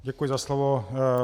Děkuji za slovo.